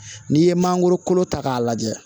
N'i ye mangoro kolo ta k'a lajɛ